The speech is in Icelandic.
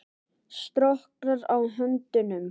Storknar á höndunum.